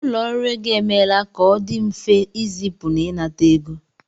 Ụlọ ọrụ ego emeela ka ọ dị mfe ịzipu na ịnata ego